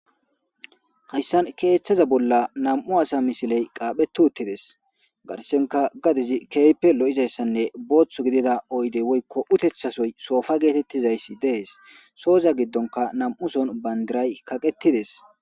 Hayssan keeththaza bolla nam'u asa misiley qaaphetu uttides garsenka gadizi keype lo'izayssanne booththu gidida oydey woykko utethasoy soofa geetettizayssi dees sooza giddonka nam'uson bandiray kaqettides.